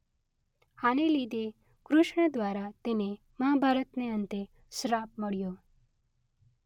આને લીધે કૃષ્ણ દ્વારા તેને મહાભારતને અંતે શ્રાપ મળ્યો.